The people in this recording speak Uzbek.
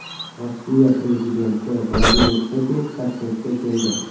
Rossiya prezidenti Vladimir Putin Toshkentga keldi.